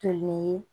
Kelen ye